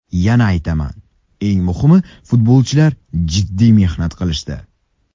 Yana aytaman, eng muhimi futbolchilar jiddiy mehnat qilishdi.